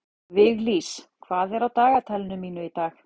Viglís, hvað er á dagatalinu mínu í dag?